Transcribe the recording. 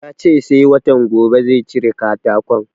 Ya ce sai watan gobe zai cire katakon